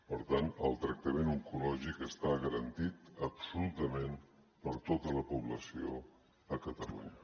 per tant el tractament oncològic està garantit absolutament per tota la població a catalunya